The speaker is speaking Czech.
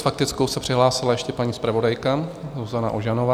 S faktickou se přihlásila ještě paní zpravodajka Zuzana Ožanová.